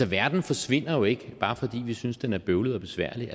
verden forsvinder jo ikke bare fordi vi synes den er bøvlet og besværlig